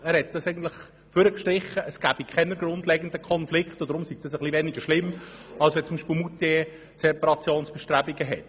Er hat hervorgehoben, dass es hier keine grundlegenden Konflikte gab und deshalb sei dieser Kantonswechsel etwas weniger schlimm als beispielsweise die Separationsbestrebungen von Moutier.